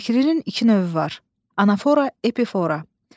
Təkririn iki növü var: anafora, epifora.